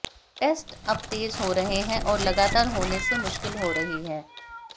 test अब तेज हो रहे हैं और लगातार होने से मुश्किल हो रही है